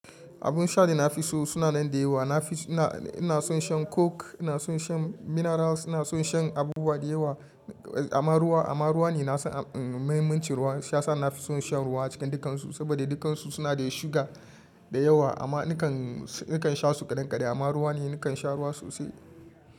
Abun sha da na fi so suna nan da yawa. Ina son shan coke, ina son shan minerals, ina son shan abubuwa da yawa, amma ruwa ne mafi mahimmancin ruwa, shi ya sa na fi son shan ruwa cikin dukan su. Saboda dukansu suna da sugar da yawa amma na kan sha su kaɗan kaɗan amma ruwa ne nake sha ruwa sosai.